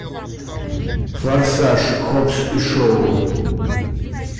форсаж хоббс и шоу